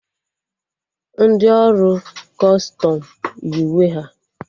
Ndị ọrụ Kọstọm yi uwe ha